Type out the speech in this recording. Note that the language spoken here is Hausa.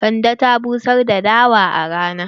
Kande ta busar da dawan a rana.